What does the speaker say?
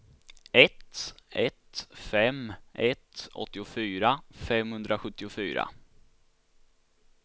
ett ett fem ett åttiofyra femhundrasjuttiofyra